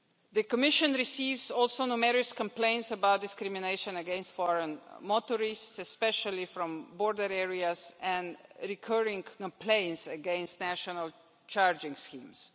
The Commission receives also numerous complaints about discrimination against foreign motorists, especially from border areas, and recurring complaints against national charging schemes.